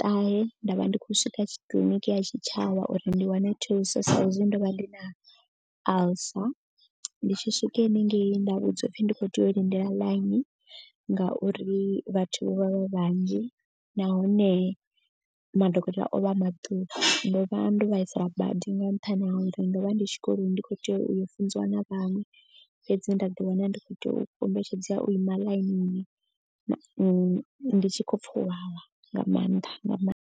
ṱahe nda vha ndi khou swika kiḽiniki ya tshitshavha uri ndi wane thuso sa hezwi ndo vha ndi na alcer. Ndi tshi swika hanengei nda vhudzwa u pfhi ndi khou tea u lindela ḽaini ngauri vhathu vho vha vha vhanzhi. Nahone madokotela o vha a maṱuku ndo vha ndo vhaisala badi ndi nga nṱhani ha uri ndo vha ndi tshikoloni ndi kho tea u yo funziwa na vhaṅwe. Fhedzi nda ḓi wana ndi kho to kombetshedzea u ima ḽainini ndi tshi khou pfa u vhavha nga maanḓa nga maanḓa.